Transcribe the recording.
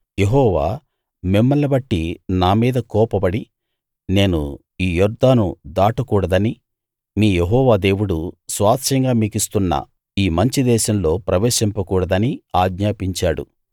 యెహోవా మిమ్మల్ని బట్టి నా మీద కోపపడి నేను ఈ యొర్దాను దాటకూడదనీ మీ యెహోవా దేవుడు స్వాస్థ్యంగా మీకిస్తున్న ఈ మంచి దేశంలో ప్రవేశింపకూడదనీ ఆజ్ఞాపించాడు